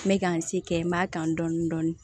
N bɛ ka n se kɛ n b'a kan dɔɔnin dɔɔnin dɔɔnin